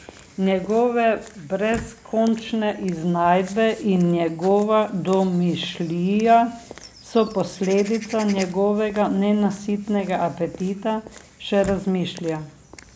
Njegove brezkončne iznajdbe in njegova domišljija so posledica njegovega nenasitnega apetita, še razmišlja.